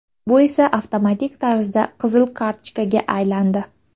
Bu esa avtomatik tarzda qizil kartochkaga aylandi.